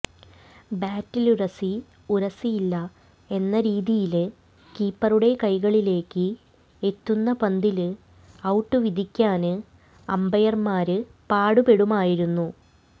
ബാറ്റിലുരസി ഉരസിയില്ല എന്ന രീതിയില് കീപ്പറുടെ കൈകളിലേക്ക് എത്തുന്ന പന്തില് ഔട്ട് വിധിക്കാന് അമ്പയര്മാര് പാടുപെടുമായിരുന്നു